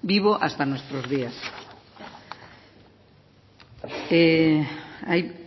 vivo hasta nuestros días